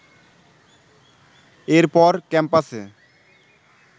এরপর ক্যাম্পাসে